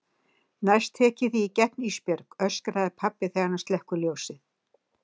Næst tek ég þig í gegn Ísbjörg, öskrar pabbi þegar hann slekkur ljósið.